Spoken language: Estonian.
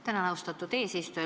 Tänan, austatud eesistuja!